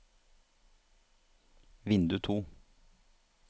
vindu to